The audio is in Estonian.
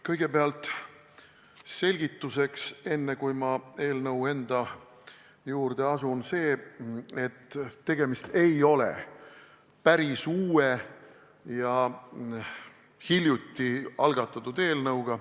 Kõigepealt selgituseks, enne kui ma eelnõu enda juurde asun: tegemist ei ole päris uue ja hiljuti algatatud eelnõuga.